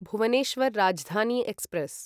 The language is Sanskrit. भुवनेश्वर् राजधानी एक्स्प्रेस्